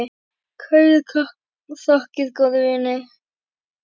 Kærar þakkir, góði vinur.